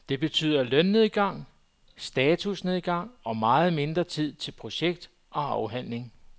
Det betyder lønnedgang, statusnedgang og meget mindre tid til projekt og afhandling.